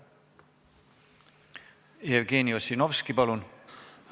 Jevgeni Ossinovski, palun!